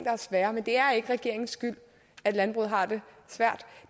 er svære men det er ikke regeringens skyld at landbruget har det svært